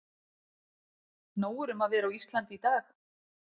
Nóg er um að vera á Íslandi í dag.